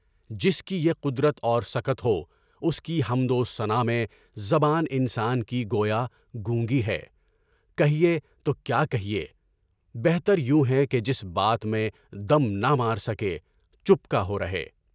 جس کی یہ قدرت اور سکت ہو، سکی حمد و ثنا میں زبان انسان کی گویا گونگی ہے، کہیے تو کیا کہیے، بہتر یو ہے کہ جس بات میں دم نہ مار سکے، چُپکا ہو رہے۔